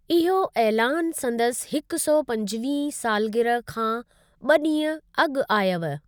इहो ऐलानु संदसि हिकु सौ पंजवीहीं सालगिरह खां ॿ ॾींहं अॻु आयव।